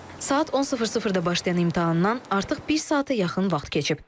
Saat 10:00-da başlayan imtahandan artıq bir saata yaxın vaxt keçib.